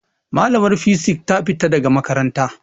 Malamar fisik ta fita daga makaranta.